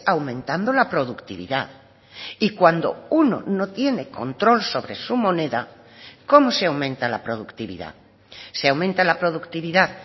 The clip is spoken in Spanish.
aumentando la productividad y cuando uno no tiene control sobre su moneda cómo se aumenta la productividad se aumenta la productividad